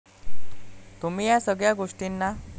तुम्ही या सगळ्या गोष्टीना